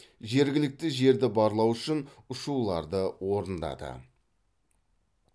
жергілікті жерді барлау үшін ұшуларды орындады